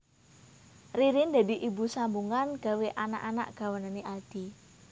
Ririn dadi ibu sambungan gawe anak anak gawanan e Aldi